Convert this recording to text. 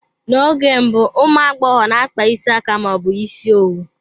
N'oge mbụ, ụmụ agbọghọ n'akpa isi aka ma ọ bụ ịsị owu.